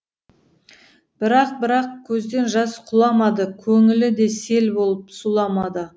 бірақ бірақ көзден жас құламады көңілі де сел болып сұламады